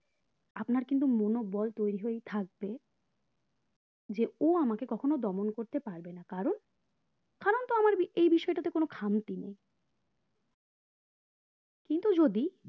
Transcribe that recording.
আপনার কিন্তু মনোবল তৈরী হয়েই থাকবে যে ও আমাকে কক্ষণ দমন করতে পারবে না কারণ কারণ তো আমার এই বিষয়টাতে কোনো খামতি নেই কিন্তু যদি